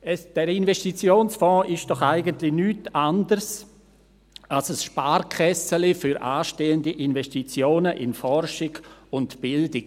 Dieser Investitionsfonds ist doch eigentlich nichts anderes als ein «Sparkässeli» für anstehende Investitionen in Forschung und Bildung.